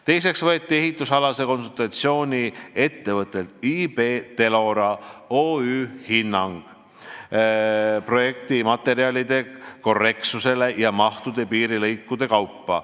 Teiseks võeti ehituskonsultatsiooni ettevõttelt IB Telora OÜ hinnang projektimaterjalide korrektsuse ja mahu kohta piirilõikude kaupa.